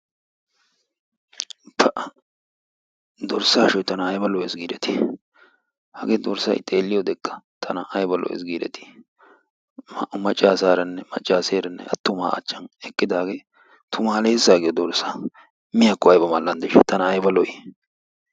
Pa! dorssa ashshoy tana aybba lo''essi giideti. hage dorssay xeelliyoodekka tana aybba lo''es gideti! naa''u maccassaranne attuma achchan eqqidaage tumalessa yaagiyo dorssa, miyaakko aybba mal''andeshsha. tana aybba lo''i!